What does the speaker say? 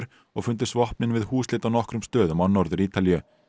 og fundust vopnin við húsleit á nokkrum stöðum á Norður Ítalíu